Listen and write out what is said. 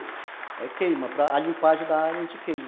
Aí queima, para limpeza da área, a gente queima.